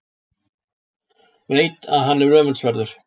Veit að hann er öfundsverður.